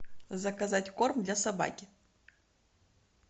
заказать корм для собаки